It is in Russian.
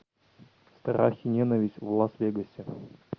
страх и ненависть в лас вегасе